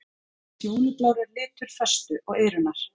Fjólublár er litur föstu og iðrunar.